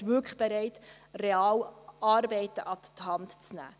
Wir sind dort wirklich bereit, Arbeiten real an die Hand zu nehmen.